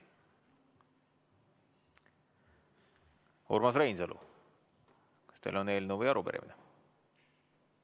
Urmas Reinsalu, kas teil on eelnõu või arupärimine?